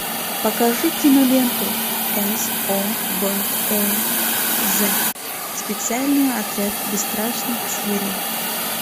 покажи киноленту собез специальный отряд бесстрашных зверей